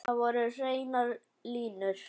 Þar voru hreinar línur.